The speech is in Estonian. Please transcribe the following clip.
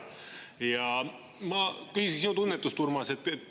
Ja ma küsin sinu tunnetust, Urmas.